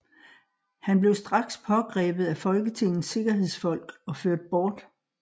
Han blev straks pågrebet af Folketingets sikkerhedsfolk og ført bort